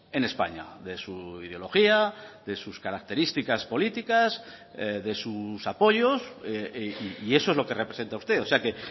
en españa de su ideología de sus características políticas de sus apoyos y eso es lo que representa usted o sea que